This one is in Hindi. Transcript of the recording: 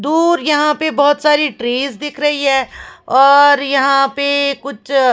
दूर यहां पे बहोत सारी ट्रेस दिख रही है और यहां पे कुछ--